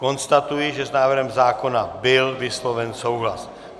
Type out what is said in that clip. Konstatuji, že s návrhem zákona byl vysloven souhlas.